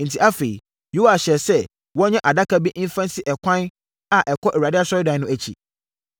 Enti, afei, Yoas hyɛɛ sɛ wɔnyɛ adaka bi mfa nsi ɛkwan a ɛkɔ Awurade Asɔredan no akyi.